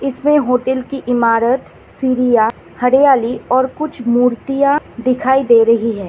इसमें होटल की इमारत सीरिया हरियाली और कुछ मूर्तियां दिखाई दे रही है।